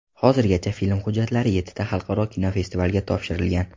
Hozirgacha film hujjatlari yettita xalqaro kinofestivalga topshirilgan.